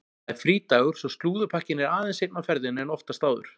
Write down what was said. Það er frídagur svo slúðurpakkinn er aðeins seinna á ferðinni en oftast áður.